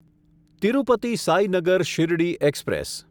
Tirupati Sainagar Shirdi express